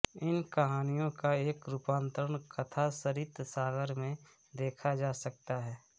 इन कहानियों का एक रूपांतरण कथासरित्सागर में देखा जा सकता है